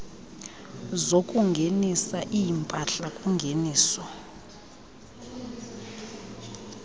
zokungenisa iimpahla kungeniso